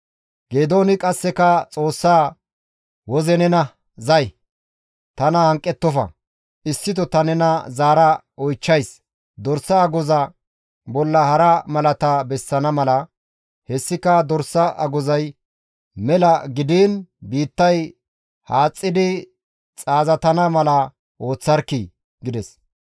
Geedooni qasseka Xoossaa, «Woze nena zay! Tana hanqettofa! Issito ta nena zaara oychchays; dorsa agoza bolla hara malata bessana mala; hessika dorsa agozay mela gidiin biittay haaxxidi xaazatana mala ooththarkkii!» gides.